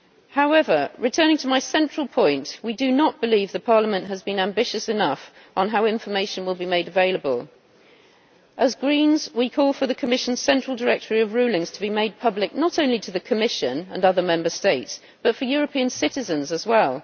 However, returning to my central point, we do not believe Parliament has been ambitious enough on how information will be made available. As Greens we call for the Commission's central directory of rulings to be made public not only to the Commission and other Member States, but for European citizens as well.